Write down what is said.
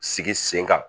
Sigi sen kan